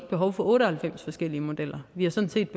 behov for otte og halvfems forskellige modeller vi har sådan set